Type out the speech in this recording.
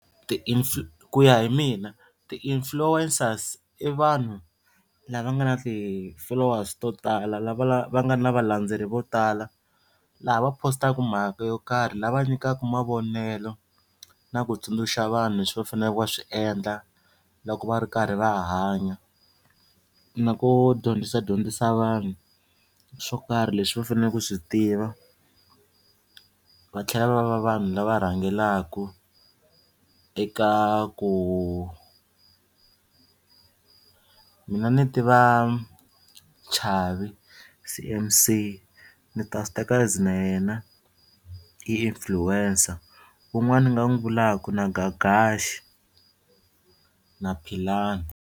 Ti ku ya hi mina ti-influencers i vanhu lava nga na ti-followers to tala va nga na valendzeleri vo tala laha va positaka mhaka yo karhi lava nyikaka mavonelo na ku tsundzuxa vanhu leswi va faneleke va swi endla loko va ri karhi va hanya na ku dyondzisadyondzisa vanhu swo karhi leswi va faneleke ku swi tiva va tlhela va va vanhu lava rhangelaku eka ku mina ni tiva Chavi C_M_C ni ta swi teka as na yena i influencer wun'wana ni nga n'wi vulaka na Gagash na Philani.